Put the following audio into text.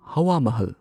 ꯍꯋꯥ ꯃꯍꯜ